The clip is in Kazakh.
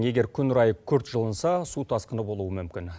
егер күн райы күрт жылынса су тасқыны болуы мүмкін